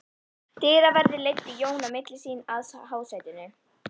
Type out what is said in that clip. Dyraverðir leiddu Jón á milli sín að hásætinu.